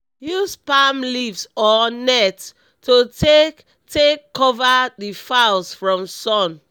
use palm leaves or net to take take cover the fowls from sun